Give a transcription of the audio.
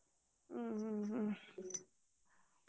ಹ್ಮ್ ಹ್ಮ್ ಹ್ಮ್.